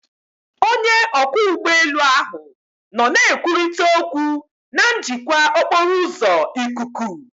Onye ọkwọ ụgbọelu ahụ nọ na-ekwurịta okwu na njikwa okporo ụzọ ikuku